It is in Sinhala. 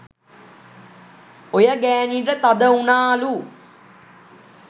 ඔය ගෑනිට තද උනාලු